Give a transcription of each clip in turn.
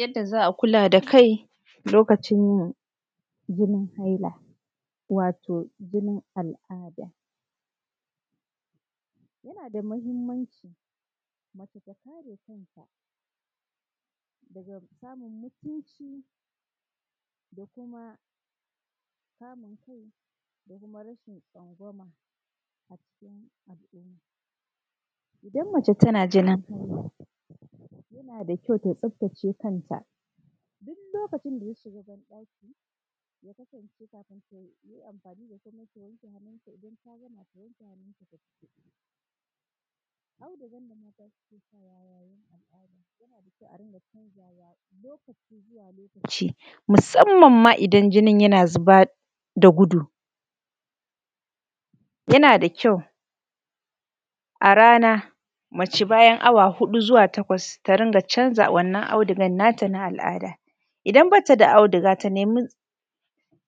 Yadda za a kula da kai lokacin jinin haila wato jinin al’ada ja na da mahimmaci mace ta kare kanta daga samun mutunci da kuma samun kai da rashin tsangwama a cikin al’umma idan mace tana jinin haila jana da kjau ta tsaftace kanta duk lokacin da ta shiga ban ɗaki ja kasance kafin ta ji amfani da komi ta wanke hannu in ta gama ta wanke hannu ta fito da audigan nan da mata suke sa wa yayin al’ada yana da kjau a dinga canja wa lokaci zuwa lokaci musanman ma idan jinin ya na zuba da gudu yana da kjau a rana mace bayan awa huɗu zuwa takwas ta ringa canza wannan audugan na ta na al’ada idan ba ta da auduga ta nemi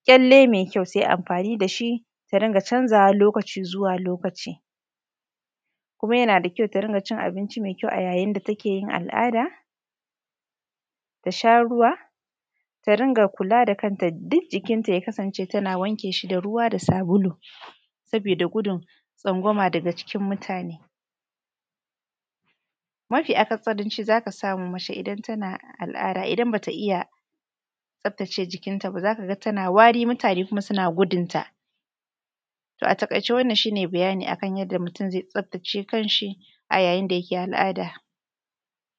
kyalle mai kyau ta yi amfani da shi ta rinƙa canza wa lokaci zuwa lokaci kuma yana da kyau ta rinƙa cin abinci mai kyau a ya yin da ta keyin al’ada ta sha ruwa ta ringa kula da kanta duk jikinta ya kasance ta na wanke shi da ruwa da sabulu saboda gudun tsangwama daga cikin mutane mafi akasaranci za ka samu mace ne idan tana al’ada idan ba ta iya tsaftace jikinta ba za ka ga tana wari kuma mutane suna gudunta to a taƙaice wannan shne bayani akan yadda mutum zai tsaftace kan shi a ya yin da yake al’ada.